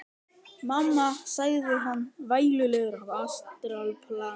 Mamma, sagði hann vælulegur á astralplaninu.